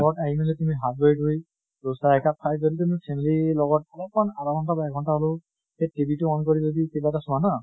ঘৰত আহি মেলি তুমি হাত ভৰি ধুই চাহ একাপ খাই যেনেতেনে family ৰ লগত অলপ্মান আধা ঘন্টা বা এক ঘন্টা হলেও এ TV টো on কৰি যদি কিবা এটা চোৱা ন